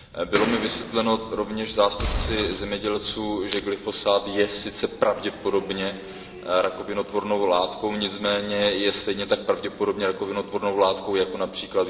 Bylo mi vysvětleno rovněž zástupci zemědělců, že glyfosát je sice pravděpodobně rakovinotvornou látkou, nicméně je stejně tak pravděpodobně rakovinotvornou látkou jako např.